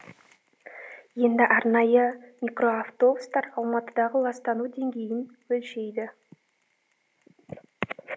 енді арнайы микроавтобустар алматыдағы ластану деңгейін өлшейді